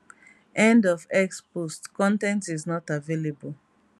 end of x post con ten t is not available